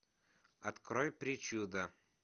открой причуда